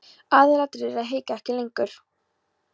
Aðalatriðið er að hika ekki lengur.